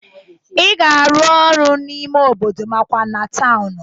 Ị ga-arụ ụlọ n'ime obodo makwa na tawnụ